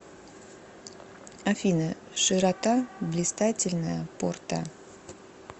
афина широта блистательная порта